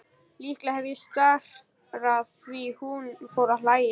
Líklega hef ég starað því hún fór að hlæja.